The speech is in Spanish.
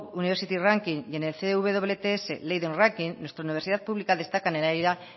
university ranking y en el cwts leiden ranking nuestra universidad pública destaca